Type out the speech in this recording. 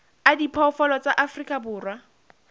a diphoofolo tsa afrika borwa